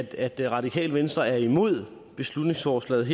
at det radikale venstre er imod beslutningsforslaget